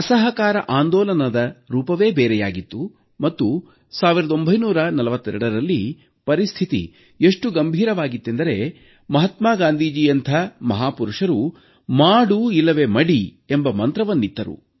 ಅಸಹಕಾರ ಆಂದೋಲನದ ರೂಪವೇ ಬೇರೆಯಾಗಿತ್ತು ಮತ್ತು 1942ರಲ್ಲಿ ಪರಿಸ್ಥಿತಿ ಎಷ್ಟು ಗಂಭೀರವಾಗಿತ್ತೆಂದರೆ ಮಹಾತ್ಮಾ ಗಾಂಧೀಜಿಯಂಥ ಮಹಾಪುರುಷರು ಮಾಡು ಇಲ್ಲವೆ ಮಡಿ ಎಂಬ ಮಂತ್ರವನ್ನಿತ್ತರು